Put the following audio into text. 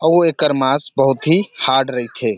उ एकर मास बहुत ही हार्ड रईथे ।